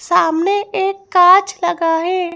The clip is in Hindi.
सामने एक कांच लगा है।